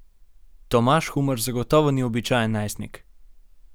Tomaž Humar zagotovo ni običajen najstnik.